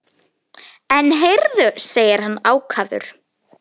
En heyrðu, segir hann ákafur.